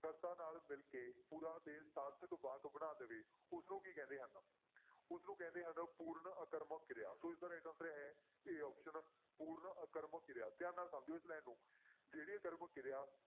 ਕਰਤਾ ਨਾਲ ਮਿਲ ਕੇ ਪੂਰਾ ਤੇ ਸਾਰਥਕ ਵਾਕ ਬਣਾ ਦੇਵੇ ਉਸਨੂੰ ਕੀ ਕਹਿੰਦੇ ਹਨ ਉਸਨੂੰ ਕਹਿੰਦੇ ਹਨ ਪੂਰਨ ਆਕਰਮਕ ਕਿਰਿਆ ਸੋ ਇਸਦਾ right answer ਹੈ a option ਪੂਰਨ ਆਕਰਮਕ ਕਿਰਿਆ, ਧਿਆਨ ਨਾਲ ਸਮਝਿਓ ਇਸ line ਨੂੰ ਜਿਹੜੀ ਆਕਰਮਕ ਕਿਰਿਆ